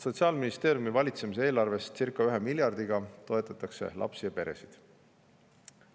Sotsiaalministeeriumi valitsemis eelarvest toetatakse lapsi ja peresid circa 1 miljardiga.